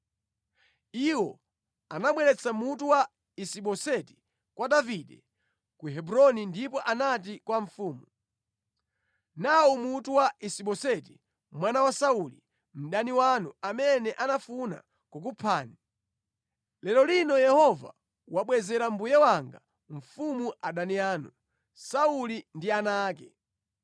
Iwo anabweretsa mutu wa Isi-Boseti kwa Davide ku Hebroni ndipo anati kwa mfumu, “Nawu mutu wa Isiboseti mwana wa Sauli, mdani wanu, amene anafuna kukuphani. Lero lino Yehova wabwezera mbuye wanga mfumu adani anu, Sauli ndi ana ake.”